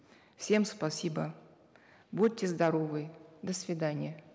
всем спасибо будьте здоровы до свидания